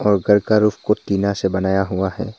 और घर का रूफ को टीना से बनाया हुआ है।